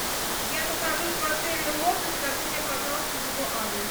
я нахожусь в отеле лотос скажи мне пожалуйста его адрес